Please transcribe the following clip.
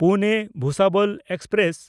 ᱯᱩᱱᱮ–ᱵᱷᱩᱥᱟᱵᱚᱞ express